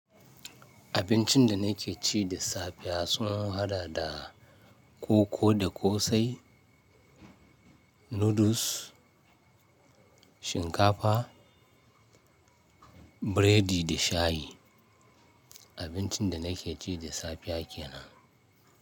Abincin da nake ci da safe sun hada da koko da ƙosai, noodles, shinkafa, biredi da shayi. Abincin da nake ci da safiya kenan.